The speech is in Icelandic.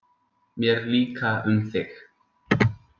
Mér líka um þig.